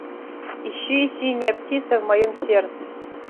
ищи синяя птица в моем сердце